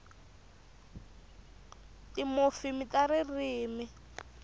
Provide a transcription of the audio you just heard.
timofimi ta ririmi